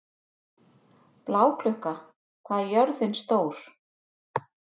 Bláklukka, hvað er jörðin stór?